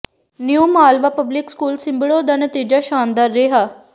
new Malwa public school Simbro ਦਾ ਨਤੀਜਾ ਸ਼ਾਨਦਾਰ ਰਿਹਾ